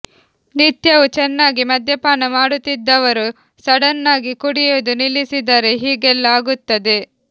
ನಿತ್ಯವೂ ಚೆನ್ನಾಗಿ ಮದ್ಯಪಾನ ಮಾಡುತ್ತಿದ್ದವರು ಸಡನ್ನಾಗಿ ಕುಡಿಯೋದು ನಿಲ್ಲಿಸಿದರೆ ಹೀಗೆಲ್ಲ ಆಗುತ್ತದೆ